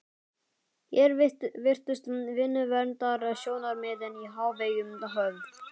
Hér virtust vinnuverndarsjónarmiðin í hávegum höfð.